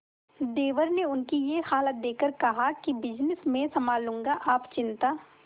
देवर ने उनकी ये हालत देखकर कहा कि बिजनेस मैं संभाल लूंगा आप चिंता